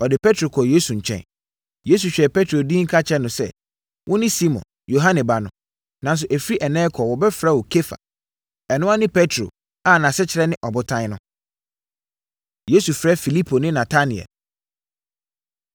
Ɔde Petro kɔɔ Yesu nkyɛn. Yesu hwɛɛ Petro dinn ka kyerɛɛ no sɛ, “Wone Simon, Yohane ba no. Nanso, ɛfiri ɛnnɛ rekɔ wɔbɛfrɛ wo Kefa.” Ɛno ara ne Petro a nʼasekyerɛ ne Ɔbotan no. Yesu Frɛ Filipo Ne Natanael